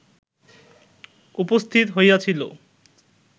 উপস্থিত হইয়াছিল